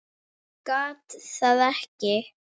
Gat það ekki.